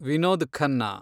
Vinod Khanna